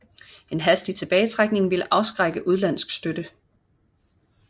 En hastig tilbagetrækning ville afskrække udenlandsk støtte